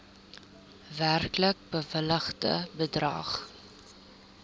werklik bewilligde bedrag